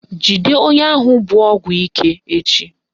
Jide onye ahụ bu ọgwụ ike echi!